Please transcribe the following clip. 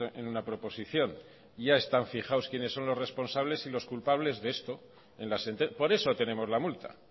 en una proposición ya están fijados quiénes son los responsables y los culpables de esto por eso tenemos la multa